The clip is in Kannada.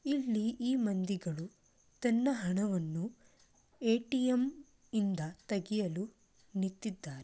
ಇಲ್ಲಿ ಈ ಮಂದಿಗಳು ತನ್ನ ಹಣವನ್ನು ಎ.ಟಿ.ಎಂ. ಇಂದ ತೆಗೆಯಲು ನಿಂತಿದ್ದಾರೆ.